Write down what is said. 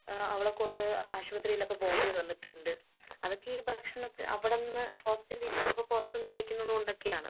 ഏഹ് അവളെക്കൊണ്ട് ആശുപത്രിയിലൊക്കെ പോവണ്ടി വന്നിട്ടുണ്ട്. അതൊക്കെ ഈ ഭക്ഷണത്തി അവിടന്ന് ഹോസ്റ്റലിൽ ഇരിക്കുമ്പൊ പുറത്തുന്ന് കഴിക്കുന്നതുകൊണ്ടൊക്കെയാണ്.